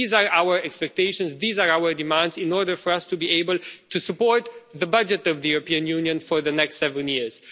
These are our expectations, these are our demands in order for us to be able to support the budget of the European Union for the next seven years.